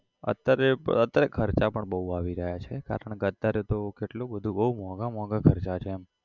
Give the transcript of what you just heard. અત્યારે અત્યારે તો ખર્ચા પણ બહુ આવી રહ્યા છે કારણ કે અત્યારે તો કેટલું બધું બહુ મોઘા મોઘા ખર્ચા છે એમ